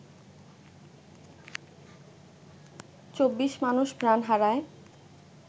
২৪ মানুষ প্রাণ হারায়